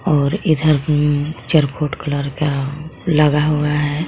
और इधर भी चरखोट कलर का लगा हुआ है।